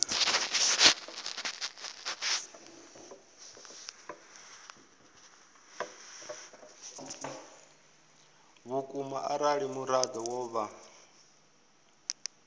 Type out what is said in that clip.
vhukuma arali muraḓo wo vha